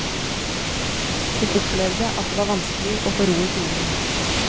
Hun opplevde at det var vanskelig å få ro i timene.